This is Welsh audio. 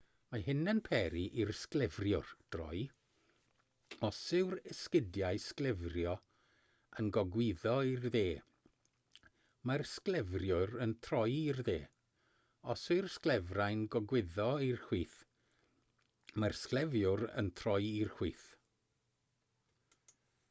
mae hyn yn peri i'r sglefriwr droi os yw'r esgidiau sglefrio yn gogwyddo i'r dde mae'r sglefriwr yn troi i'r dde os yw'r sglefrau'n gogwyddo i'r chwith mae'r sglefriwr yn troi i'r chwith